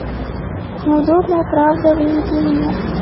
неудобная правда выведи мне